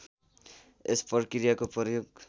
यस प्रक्रियाको प्रयोग